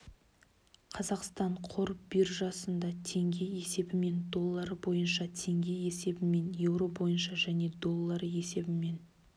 қазақстан қор биржасында теңге есебімен доллары бойынша теңге есебімен еуро бойынша және доллары есебімен